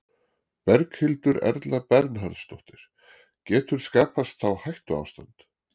Berghildur Erla Bernharðsdóttir: Getur skapast þá hættuástand?